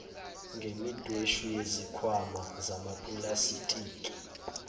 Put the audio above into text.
ngemidweshu yezikhwama zamapulastiki